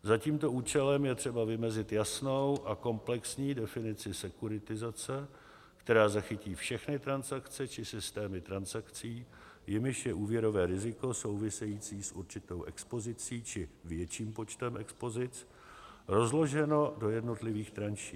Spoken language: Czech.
Za tímto účelem je třeba vymezit jasnou a komplexní definici sekuritizace, která zachytí všechny transakce či systémy transakcí, jimiž je úvěrové riziko související s určitou expozicí či větším počtem expozic rozloženo do jednotlivých tranší.